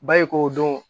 Ba e ko o dɔn